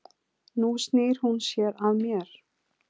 Nú snýr hún sér að mér.